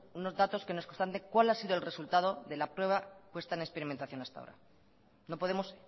unos datos que nos constaten cuál ha sido el resultado de la prueba puesta en experimentación hasta ahora no podemos